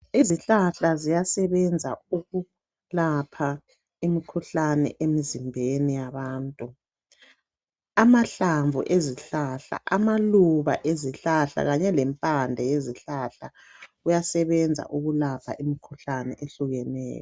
Izihlahla ziyasebenza ukulapha imikhuhlane emzimbeni yabantu. Amahlamvu ezihlahla, amaluba ezihlahla kanye lempande yezihlahla kuyasabenza ukulapha imkhuhlane etshiyeneyo.